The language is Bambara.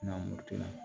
N'an m'o to yen